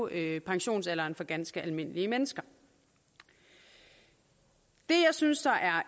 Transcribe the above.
hæve pensionsalderen for ganske almindelige mennesker det jeg synes